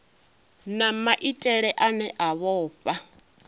na maitele ane a vhofha